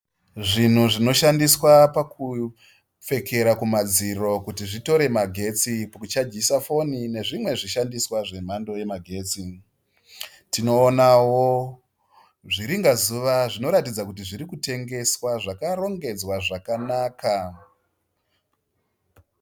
Zvinhu zvinoshandiswa pakupfekera kumadziro kuti zvitore magetsi kuchajisa foni, nezvimwe zvishandiswa zvemhando yemagetsi. Tinoonawo zviringazuva zvinoratidza kuti zvirikutengeswa zvakarongedzwa zvakanaka.